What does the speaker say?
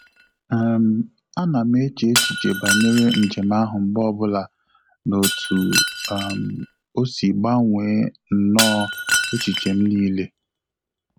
um A na m eche echiche banyere njem ahụ mgbe ọbụla na otu um osi gbanwee nno echiche m n'ile